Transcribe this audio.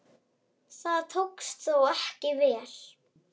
Það tókst þó ekki vel.